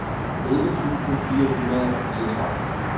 elleve tusind fire hundrede og fireogtredive